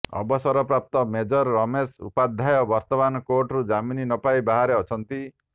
ଅବସରପ୍ରାପ୍ତ ମେଜର ରମେଶ ଉପାଧ୍ୟାୟ ବର୍ତ୍ତମାନ କୋର୍ଟରୁ ଜାମିନ ପାଇ ବାହାରେ ଅଛନ୍ତି